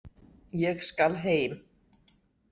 Ég skal heim.